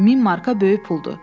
1000 marka böyük puldur.